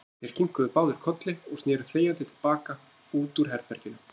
Þeir kinkuðu báðir kolli og sneru þegjandi til baka út úr herberginu.